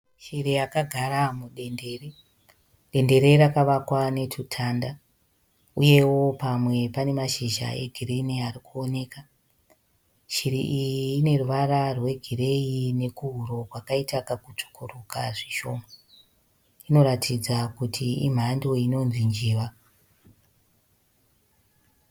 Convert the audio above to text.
Shiri yakagara mudendere. Dendere rakavakwa netutanda uyewo pamwe pane mashizha egirinhi ari kuwoneka. Shiri iyi ine ruvara rwegireyi nekuhuro kwakaita kakutsvukuruka zvishoma. Inoratidza kuti imhando inonzi njiva.